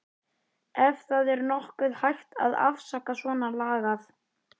Ef það er nokkuð hægt að afsaka svonalagað.